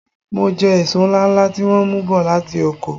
M jẹ èso ńláńlá tí wọ́n mú bọ̀ láti oko.